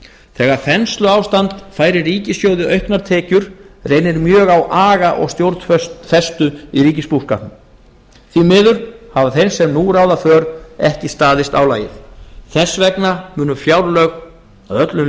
þegar þensluástand færir ríkissjóði auknar tekjur reynir mjög á aga og stjórnfestu í ríkisbúskapnum því miður hafa þeir sem nú ráða för ekki staðist álagið þess vegna munu fjárlög næsta árs